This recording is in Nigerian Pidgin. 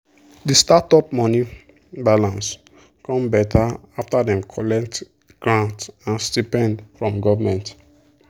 the startup money balance come better after dem collect grant and stipend from government.